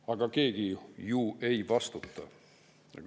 Aga keegi ju ei vastuta.